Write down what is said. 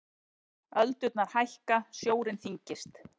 Öldurnar hækka, sjórinn þyngist.